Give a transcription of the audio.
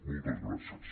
moltes gràcies